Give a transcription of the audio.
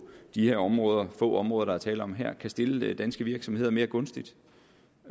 de her områder få områder der er tale om her kan stille danske virksomheder mere gunstigt